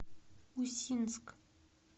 усинск